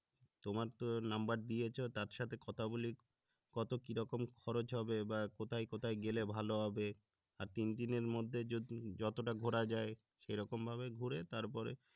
তোমার তো নাম্বার দিয়েছো তার সাথে কথা বলে কতো কিরকম খরচ হবে বা কোথায় কোথায় গেলে ভালো হবে আর তিনদিনের মধ্যে যদি যত টা ঘুরা যায় সেইরকম ভাবে করে তারপরে